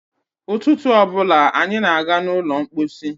Ụtụtụ ọ bụla anyị na-aga n'ụlọ mkpọsi.